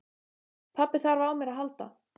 Pabbi þarf á mér að halda.